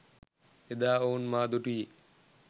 එදා ඔවුන් මා දුටුයේ